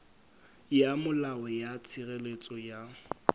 ya molao ya tshireletso ya